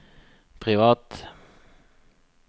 privat